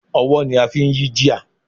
Ọwọ́ ni a fi ń yí gear.